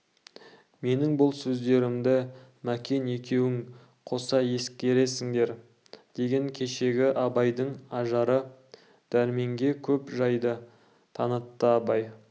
менің бұл сөздерімді мәкен екеуің қоса ескеріңдер деген кешегі абайдың ажары дәрменге көп жайды танытты абай